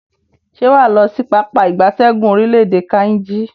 Se waa lo si Pápá ìgbatẹ́gùn orile-ede Kainji?